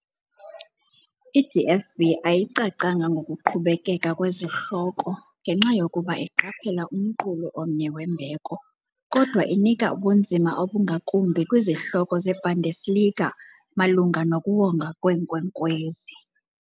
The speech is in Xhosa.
I -DFB ayicacanga ngokuqhubekeka kwezihloko, ngenxa yokuba iqaphela umqulu omnye wembeko, kodwa inika ubunzima obungakumbi kwizihloko zeBundesliga, malunga nokuwongwa kweenkwenkwezi.